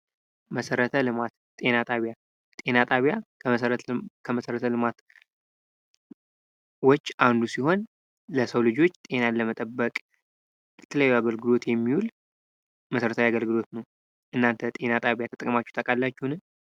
መሠረተ ልማት ጤና ጣቢያ ጤና ጣቢያ ከመሠረ ልማቶች አንዱ ሲሆን ለሰው ልጆች ጤናን ለመጠበቅ ለተለያዩ አገልግሎት የሚውል መሠረታዊ አገልግሎት ነው። እናንተ ጤና ጣቢያ ተጠቅማችሁ ታውቃላችሁን?